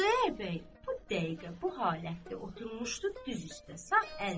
Xudayar bəy bu dəqiqə bu halətdə oturmuşdu diz üstə.